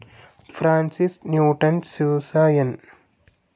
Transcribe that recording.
Francis Newton Sousa, S.